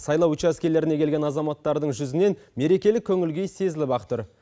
сайлау учаскелеріне келген азаматтардың жүзінен мерекелік көңіл күй сезіліп ақ тұр